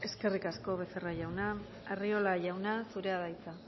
eskerrik asko becerra jauna arriola jauna zurea da hitza